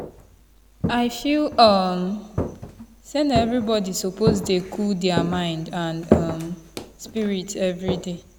i feel um say na everybody suppose dey cool der mind and um spirit everyday.